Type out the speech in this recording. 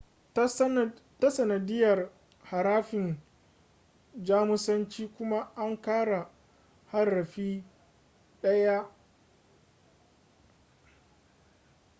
ta sanadiyar harafin jamusanci kuma an ƙara harafi ɗaya õ / õ